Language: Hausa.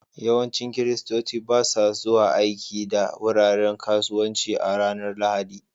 Yawancin Kiristoci ba sa zuwa aiki da wuraren kasuwanci a ranar Lahadi